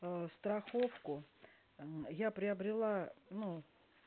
ээ страховку ээ я приобрела ну